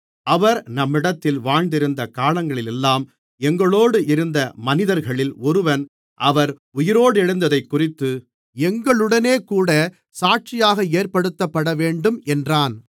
அவர் நம்மிடத்தில் வாழ்ந்திருந்த காலங்களிலெல்லாம் எங்களோடு இருந்த மனிதர்களில் ஒருவன் அவர் உயிரோடெழுந்ததைக்குறித்து எங்களுடனேகூடச் சாட்சியாக ஏற்படுத்தப்படவேண்டும் என்றான்